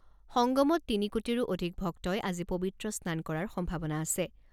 সংগমত তিনি কোটিৰো অধিক ভক্তই আজি পৱিত্ৰ স্নান কৰাৰ সম্ভাৱনা আছে।